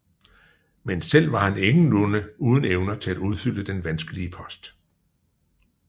Men selv var han ingenlunde uden evner til at udfylde den vanskelige post